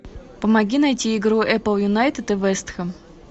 помоги найти игру апл юнайтед и вест хэм